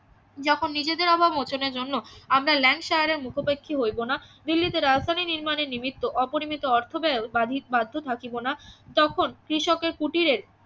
যখন নিজেদের অভাব মোচনের জন্য আমরা মুখাপেক্ষি হইব না দিল্লীতে রায়তারি নির্মাণই নিমিত্ত অপরিমিত অর্থ ব্যয় বাধি বাধ্য থাকিব না তখন কৃষকের কুটিরে